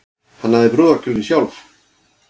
Hannaði brúðarkjólinn sjálf